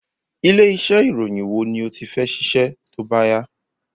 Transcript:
Ilé iṣẹ ìròyìn wo ni o ti fẹ́ ṣiṣẹ tóbá yá